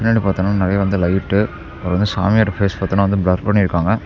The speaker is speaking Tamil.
பின்னாடி பாத்தோம்னா நெறைய வந்து லைட்டு அப்புறம் சாமியோட ஃபேஸ் பாத்தீன்னா பிளர் பண்ணி இருக்காங்க.